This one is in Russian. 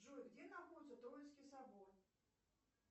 джой где находится троицкий собор